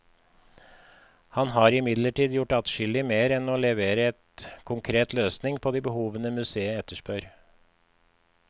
Han har imidlertid gjort adskillig mer enn å levere en konkret løsning på de behovene museet etterspør.